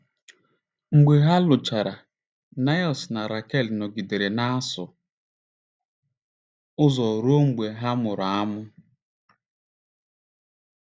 Mgbe ha lụchara, Niels na Rakel nọgidere na-asụ ụzọ ruo mgbe ha mụrụ ụmụ.